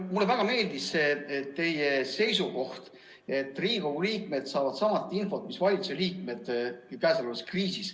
Mulle väga meeldis teie seisukoht, et käesolevas kriisis saavad Riigikogu liikmed sama infot, mida valitsuse liikmedki.